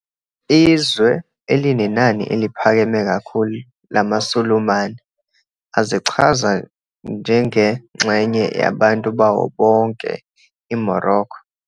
Izwe elinenani eliphakeme kakhulu lamaSulumane azichaza njengengxenye yabantu bawo bonke iMorocco.